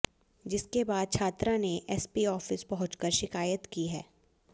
जिसके बाद छात्रा ने एसपी ऑफिस पहुंचकर शिकायत की है